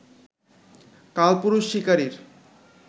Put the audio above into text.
কালপুরুষ শিকারীর